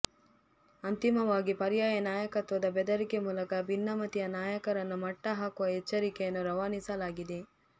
ಅಂತಿಮವಾಗಿ ಪರ್ಯಾಯ ನಾಯಕತ್ವದ ಬೆದರಿಕೆ ಮೂಲಕ ಭಿನ್ನಮತೀಯ ನಾಯಕರನ್ನು ಮಟ್ಟ ಹಾಕುವ ಎಚ್ಚರಿಕೆಯನ್ನು ರವಾನಿಸಲಾಗಿದೆ